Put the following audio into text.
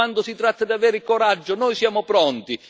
quando si tratta di avere coraggio, noi siamo pronti!